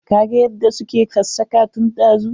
Ka ga yadda su ke ksassaka tun dazu.